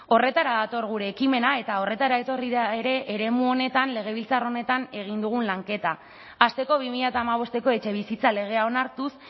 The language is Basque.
horretara dator gure ekimena eta horretara etorri da ere eremu honetan legebiltzar honetan egin dugun lanketa hasteko bi mila hamabosteko etxebizitza legea onartuz